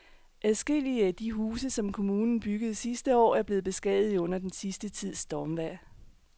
Adskillige af de huse, som kommunen byggede sidste år, er blevet beskadiget under den sidste tids stormvejr.